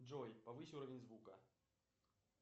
джой повысь уровень звука